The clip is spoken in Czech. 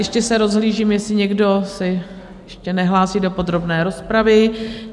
Ještě se rozhlížím, jestli někdo se ještě nehlásí do podrobné rozpravy?